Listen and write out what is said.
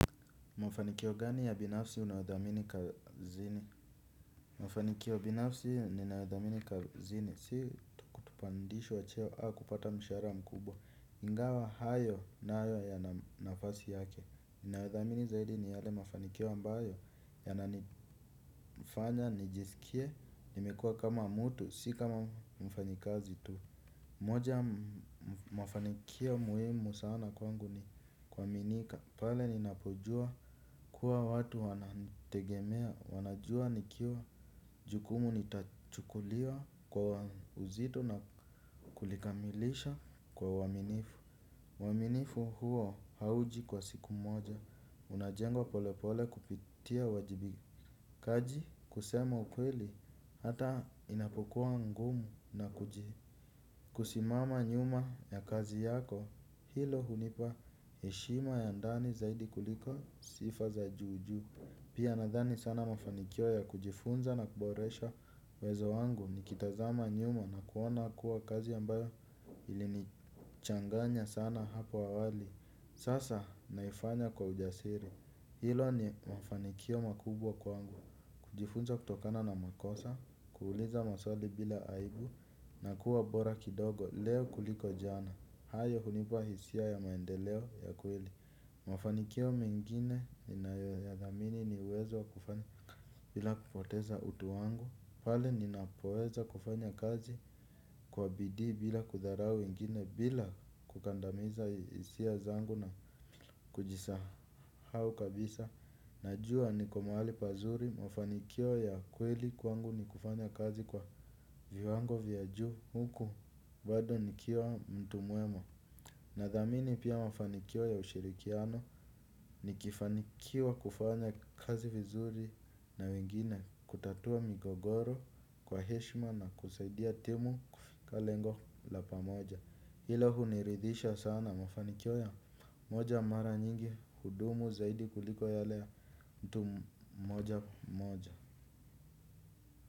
Mafanikio gani ya binafsi unayothamini kazini? Mafanikio binafsi ninayothamini kazini si tu kupandishwa cheo au kupata mshahara mkubwa. Ingawa hayo nayo yana nafasi yake. Ninayothamini zaidi ni yale mafanikio ambayo yananifanya nijisikie nimekua kama mtu, si kama mfanyikazi tu. Moja mafanikio muhimu sana kwangu ni kuaminika, pale ninapojua kuwa watu wananitegemea, wanajua nikiwa jukumu nitachukuliwa kwa uzito na kulikamilisha kwa uaminifu. Uaminifu huo hauji kwa siku moja, unajengwa pole pole kupitia uwajibikaji, kusema ukweli, hata inapokuwa ngumu na kuji kusimama nyuma ya kazi yako, hilo hunipa heshima ya ndani zaidi kuliko sifa za juu juu. Pia nadhani sana mafanikio ya kujifunza na kuboresha uwezo wangu nikitazama nyuma na kuona kuwa kazi ambayo ilinichanganya sana hapo awali. Sasa naifanya kwa ujasiri. Hilo ni mafanikio makubwa kwangu. Kujifunza kutokana na makosa, kuuliza maswali bila aibu na kuwa bora kidogo leo kuliko jana hayo hunipa hisia ya maendeleo ya kweli. Mafanikio mengine ninayoyathamini ni uwezo wa kufanya bila kupoteza utu wangu pale ninapoweza kufanya kazi kwa bidii bila kudharau wengine bila kukandamiza hisia zangu na kujisahau kabisa. Najua niko mahali pazuri mafanikio ya kweli kwangu ni kufanya kazi kwa viwango vya juu huku bado nikiwa mtu mwema. Nathamini pia mafanikio ya ushirikiano nikifanikiwa kufanya kazi vizuri na wengine kutatua migogoro kwa heshima na kusaidia timu kufika lengo la pamoja hilo huniridisha sana mafanikio ya moja mara nyingi hudumu zaidi kuliko yale ya mtu mmoja mmoja.